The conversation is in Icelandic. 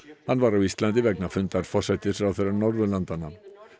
hann var á Íslandi vegna fundar forsætisráðherra Norðurlandanna